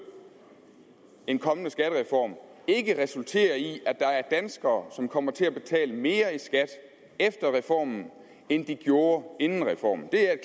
en kommende skattereform ikke resultere i at der er danskere som kommer til at betale mere i skat efter reformen end de gjorde inden reformen det er